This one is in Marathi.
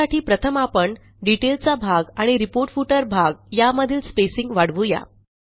त्यासाठी प्रथम आपणDetail चा भाग आणि रिपोर्ट फुटर भाग यामधील स्पेसिंग वाढवू या